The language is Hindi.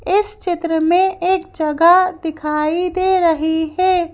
इस चित्र में एक जगह दिखाई दे रही है।